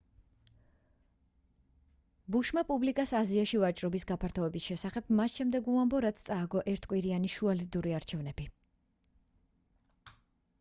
ბუშმა პუბლიკას აზიაში ვაჭრობის გაფართოების შესახებ მას შემდეგ უამბო რაც წააგო ერთკვირიანი შუალედური არჩევნები